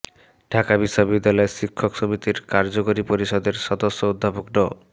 ঢাকা বিশ্ববিদ্যালয় শিক্ষক সমিতির কার্যকরী পরিষদের সদস্য অধ্যাপক ড